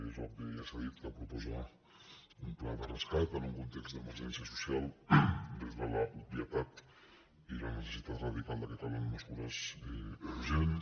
és obvi ja s’ha dit que proposa un pla de rescat en un context d’emergència social des de l’obvietat i la necessitat radical que calen mesures urgents